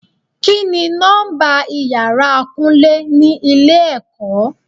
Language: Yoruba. Kini nọ́mbà ìyára Kúnlé ni ilé ẹ̀kọ́?